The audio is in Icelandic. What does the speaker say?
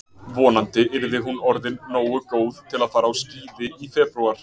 Vonandi yrði hún orðin nógu góð til að fara á skíði í febrúar.